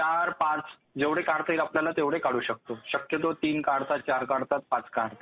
चार पाच जेवढे काढता येतील आपल्याला तेवढे काढू शकतो. शक्यतो तीन काढतात, चार काढतात, पाच काढतात.